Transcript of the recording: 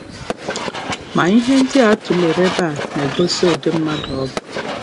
Ma, ihe ndị a tụlere n’ebe a na-egosi ụdị mmadụ ọ bụ.